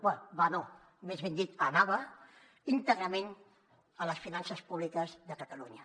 bé va no més ben dit anava íntegrament a les finances públiques de catalunya